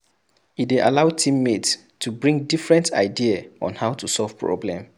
E dey allow team mates to bring different idea on how to solve problem